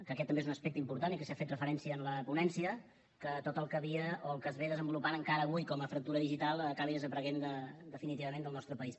que aquest també és un aspecte important i que s’hi ha fet referència en la ponència que tot el que el que s’està desenvolupant encara avui com a fractura digital acabi desapareixent definitivament del nostre país